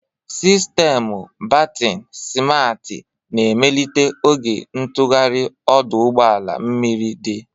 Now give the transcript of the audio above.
Sistemụ bertin simarti na-emelite oge ntụgharị ọdụ ụgbọ mmiri dị.